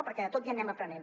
perquè de tot ja anem aprenent